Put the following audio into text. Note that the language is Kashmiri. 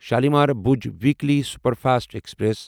Shalimar Bhuj weekly superfast express